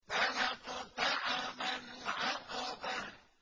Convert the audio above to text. فَلَا اقْتَحَمَ الْعَقَبَةَ